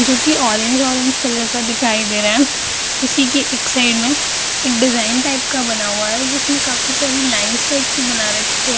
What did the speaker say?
जो कि orange orange colour का दिखाई दे रहा है इसी की एक साइड में एक डिज़ाइन टाइप का बना हुआ है जिसमे काफी सारे लाइन्स टाइप की बना रखी है ।